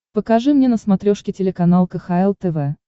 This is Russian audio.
покажи мне на смотрешке телеканал кхл тв